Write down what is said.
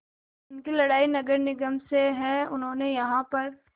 उनकी लड़ाई नगर निगम से है जिन्होंने यहाँ पर